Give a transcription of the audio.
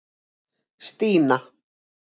Stína